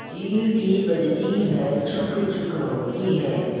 सीटी बजती है छुक् छुक् होती है